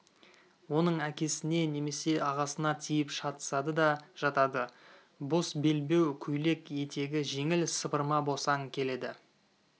оның әкесіне немесе ағасына тиіп шатысады да жатады бос белбеу көйлек етегі жеңіл сыпырма босаң келеді